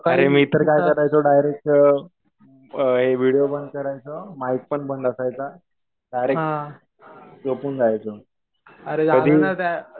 अरे मी तर काय करायचो, डायरेक्ट व्हिडीओ बंद करायचो, माईक पण बंद असायचा डायरेक्ट झोपून जायचो. कधी